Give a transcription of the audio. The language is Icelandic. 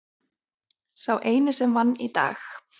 Sá eini sem vann í dag.